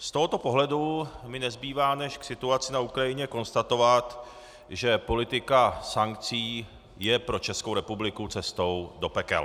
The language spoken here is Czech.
Z tohoto pohledu mi nezbývá než k situaci na Ukrajině konstatovat, že politika sankcí je pro Českou republiku cestou do pekel.